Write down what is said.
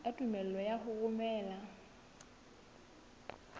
ya tumello ya ho romela